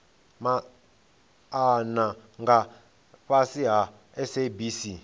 maana nga fhasi ha sabc